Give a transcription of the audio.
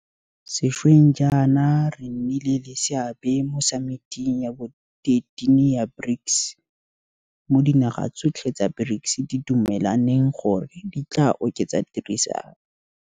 Sešweng jaana re nnile le seabe mo Samiting ya bo 13 ya BRICS, mo dinaga tsotlhe tsa BRICS di dumelaneng gore di tla oketsa tirisanO.